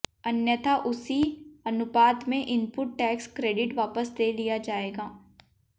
अन्यथा उसी अनुपात में इनपुट टैक्स क्रेडिट वापस ले लिया जाएगा